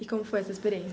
E como foi essa experiência?